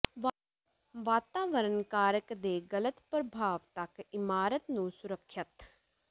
ਵਾਤਾਵਰਣ ਕਾਰਕ ਦੇ ਗਲਤ ਪ੍ਰਭਾਵ ਤੱਕ ਇਮਾਰਤ ਨੂੰ ਸੁਰੱਖਿਅਤ